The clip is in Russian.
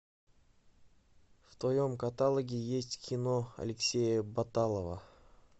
в твоем каталоге есть кино алексея баталова